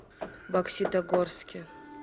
бокситогорске